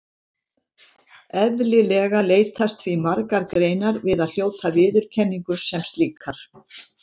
Eðlilega leitast því margar greinar við að hljóta viðurkenningu sem slíkar.